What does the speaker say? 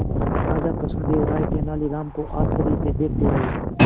राजा कृष्णदेव राय तेनालीराम को आश्चर्य से देखते रहे